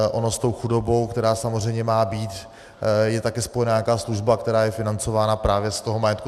Ono s tou chudobou, která samozřejmě má být, je taky spojena nějaká služba, která je financována právě z toho majetku.